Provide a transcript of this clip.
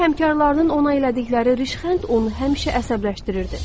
İşdə həmkarlarının ona elədikləri rişxənd onu həmişə əsəbləşdirirdi.